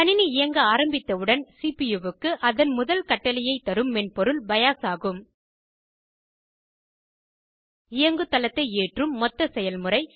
கணினி இயங்க ஆரம்பித்தவுடன் சிபியூவுக்கு அதன் முதல் கட்டளையை தரும் மென்பொருள் பயோஸ் ஆகும் இயங்குதளத்தை ஏற்றும் மொத்த செயல்முறை